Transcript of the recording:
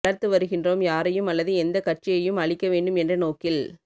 வளர்த்து வருகின்றோம் யாரையும் அல்லது எந்தக் கட்சியையும் அழிக்க வேண்டும் என்ற நோக்கில்